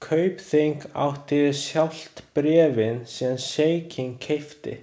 Kaupþing átti sjálft bréfin sem sjeikinn keypti.